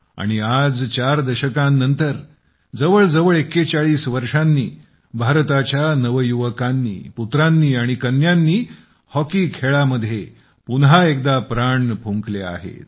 आणि आज चार दशकांनंतर जवळजवळ 41 वर्षांनी भारताच्या नवयुवकांनी पुत्रांनी आणि कन्यांनी हॉकी खेळामध्ये पुन्हा एकदा प्राण फुंकले आहेत